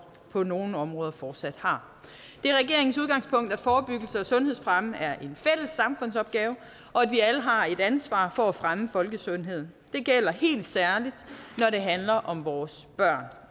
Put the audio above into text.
på nogle områder fortsat har det er regeringens udgangspunkt at forebyggelse og sundhedsfremme er en fælles samfundsopgave og at vi alle har et ansvar for at fremme folkesundheden det gælder helt særligt når det handler om vores børn